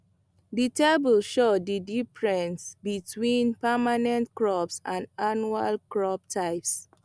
di table show di difference between permanent crops and annual crop types